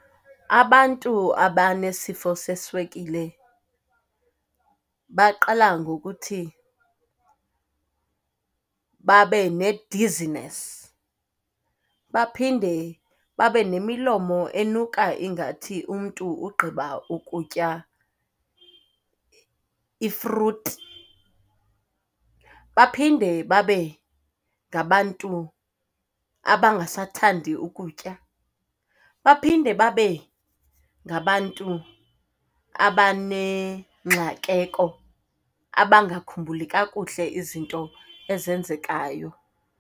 Abantu abanesifo seswekile baqala ngokuthi babe ne-dizziness, baphinde babe nemilomo enuka ingathi umntu ugqiba ukutya ifruthi. Baphinde babe ngabantu abangasathandi ukutya. Baphinde babe ngabantu abanengxakeko, abangakhumbuli kakuhle izinto ezenzekayo.